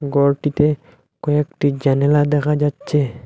ঘরটিতে কয়েকটি জানালা দেখা যাচ্ছে।